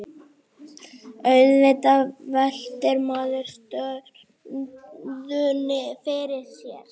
Auðvitað veltir maður stöðunni fyrir sér